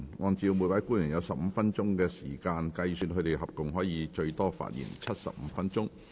按照每位官員有15分鐘發言時間計算，他們合共可發言最多75分鐘。